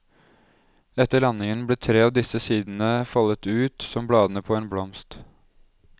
Etter landingen ble tre av disse sidene foldet ut, som bladene på en blomst.